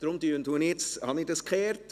Deshalb habe ich die Reihenfolge geändert.